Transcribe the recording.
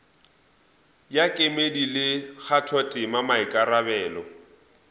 ya kemedi le kgathotema maikarabelo